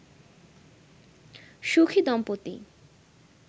সুখী দম্পতি